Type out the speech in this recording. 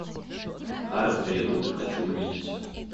хард ребут хочу увидеть